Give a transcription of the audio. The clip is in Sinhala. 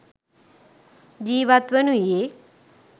ජීවත් වනුයේ